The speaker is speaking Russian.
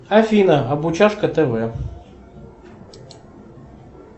афина обучашка тв